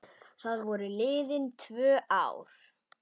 Þá voru liðin tvö ár.